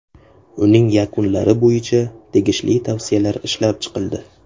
Uning yakunlari bo‘yicha tegishli tavsiyalar ishlab chiqildi.